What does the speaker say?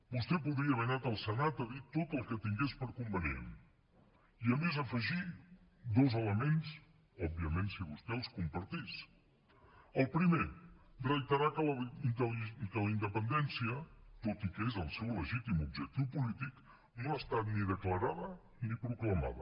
vostè podria haver anat al senat a dir tot el que tingués per convenient i a més afegir dos elements òbviament si vostè els compartís el primer reiterar que la independència tot i que és el seu legítim objectiu polític no ha estat ni declarada ni proclamada